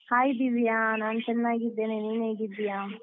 Hai Divya, ನಾನು ಚೆನಾಗಿದ್ದೇನೆ, ನೀನ್ ಹೇಗಿದ್ದೀಯಾ?